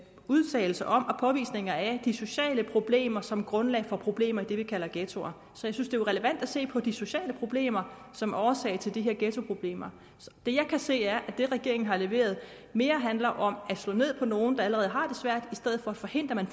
udtalelser om og påvisninger af de sociale problemer som grundlag for problemer i det vi kalder ghettoer så jeg synes det er relevant at se på de sociale problemer som årsag til de her ghettoproblemer det jeg kan se er at det regeringen har leveret mere handler om at slå ned på nogle der allerede har det svært i stedet for at forhindre at